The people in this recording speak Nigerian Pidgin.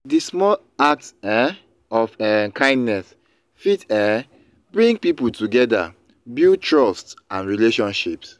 di small acts um of um kindness fit um bring people together build trust and relationships.